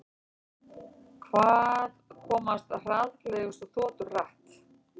Hvað komast hraðfleygustu þotur hratt?